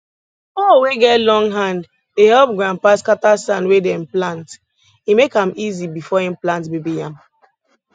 hoe wey get long hand dey help grandpa scatter sand wey dem plant e make am easy before im plant baby yam